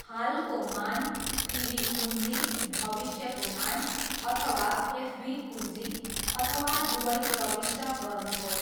हालको मान, पिभी कुञ्जी, भविष्यको मान, अथवा एफभी कुञ्जी, अथवा दुवै प्रविष्ट गर्नुहोस्।